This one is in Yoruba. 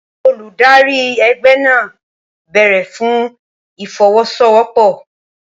Olùdarí ẹgbẹ́ náà béèrè fún ìfọwọ́sowọ́pọ̀